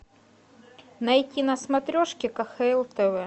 найти на смотрешке кхл тв